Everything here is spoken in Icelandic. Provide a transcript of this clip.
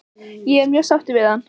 Ég er mjög sáttur við hann?